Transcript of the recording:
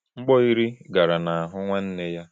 Mgbọ iri gara n’ahụ nwanne ya.